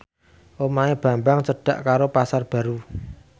omahe Bambang cedhak karo Pasar Baru